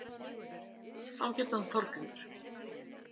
Þá hét hann Þorgrímur.